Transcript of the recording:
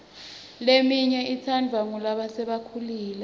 leminye itsandvwa ngulasebakhulile